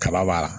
Kaba b'a la